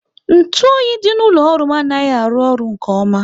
Ntụ oyi dị n'ụlọ ọrụ m anaghị arụ ọrụ nke ọma